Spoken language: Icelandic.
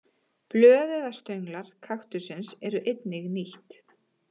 Blöð eða stönglar kaktussins eru einnig nýtt.